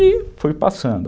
E foi passando.